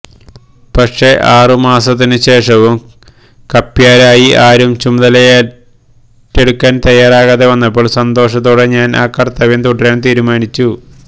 പക്ഷേ ആറുമാസത്തിനുശേഷവും കപ്യാരായി ആരും ചുമതലയേറ്റെടുക്കാന് തയാറാകാതെ വന്നപ്പോള് സന്തോഷത്തോടെ ഞാന് ആ കര്ത്തവ്യം തുടരാന് തീരുമാനിച്ചു